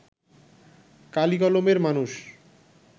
কালি-কলমের মানুষ